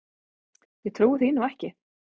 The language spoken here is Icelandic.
Ég trúi því nú ekki!